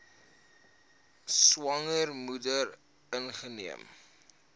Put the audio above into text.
swanger moeder ingeneem